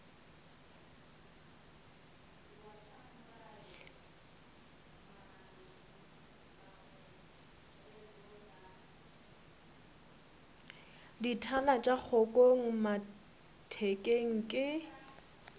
dithala tša kgokong mathekeng ke